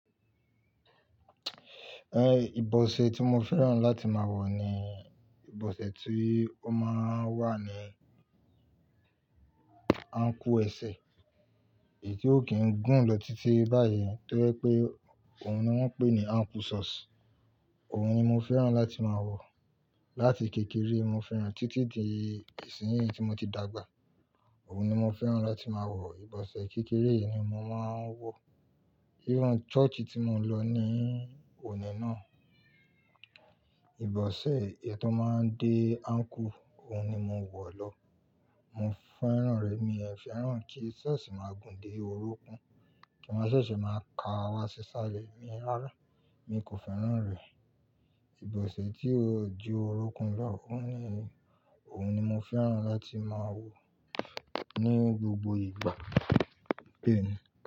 Eh, ìbọ̀sẹ̀ tí mo fẹ́ràn láti máa wọ̀ ni ìbọ̀sẹ̀ tí ó máa ń wà ní ankle ẹsẹ̀, èyí tí ó kìí gùn lọ títí báyìí tó jẹ́ pé òun ni wón ń pè ní ankle socks. Òun ni mo fẹ́ràn láti máa wọ̀. Láti kékeré mo fẹ́ràn títí di ìsinyìí tí mo ti dàgbà. Òun ni mo fẹ́ràn láti máa wọ̀. Ìbọ̀sẹ̀ kékeré ni mo máa ń wọ̀. Irú church tí mo lọ ní òní náà, ìbọ̀sẹ̀ ẹ tó máa ń dé ankle, òun ni mo wọ̀ lọ. Mo fẹ́ràn rẹ, mi ò fẹ́ràn kí socks máa gùn dé orúnkún, kí wá ṣẹ̀ṣẹ̀ máa ka wa sí salẹ̀, mi ò fẹ́ràn, mi kò fẹ́ràn rẹ̀. Ìbọ̀sẹ̀ tí ó ju orúnkún lọ, òun ni, òun ni mo fẹ́ràn láti máa wọ̀ ní gbogbo ìgbà. Bẹ́ẹ̀ ni.